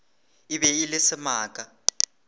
e be e le semaka